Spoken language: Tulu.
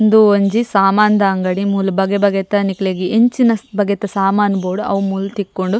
ಉಂದು ಒಂಜಿ ಸಾಮಾನ್ದ ಅಂಗಡಿ ಮೂಲು ಬಗೆ ಬಗೆತ ನಿಕ್ಲೆಗ್ ಎಂಚಿನ ಬಗೆತ ಸಾಮಾನ್ ಬೋಡು ಅವು ಮೂಲು ತಿಕ್ಕುಂಡು.